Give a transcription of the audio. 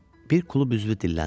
Bir klub üzvü dilləndi.